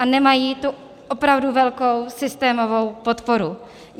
A nemají tu opravdu velkou systémovou podporu.